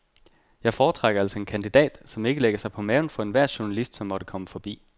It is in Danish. Jeg foretrækker altså en kandidat, som ikke lægger sig på maven for enhver journalist, som måtte komme forbi.